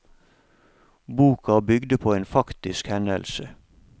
Boka bygde på en faktisk hendelse.